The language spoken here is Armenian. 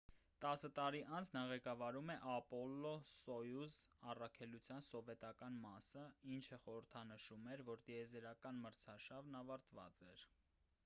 տասը տարի անց նա ղեկավարում էր ապոլլո-սոյուզ առաքելության սովետական մասը ինչը խորհրդանշում էր որ տիեզերական մրցարշավն ավարտված էր